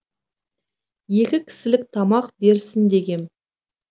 екі кісілік тамақ берсін дегем